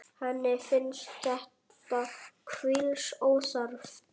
Henni finnst þetta hvísl óþarft.